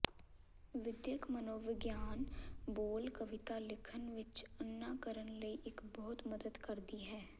ਵਿਦਿਅਕ ਮਨੋਵਿਗਿਆਨ ਬੋਲ ਕਵਿਤਾ ਲਿਖਣ ਵਿੱਚ ਅੰਨਾ ਕਰਨ ਲਈ ਇੱਕ ਬਹੁਤ ਮਦਦ ਕਰਦੀ ਹੈ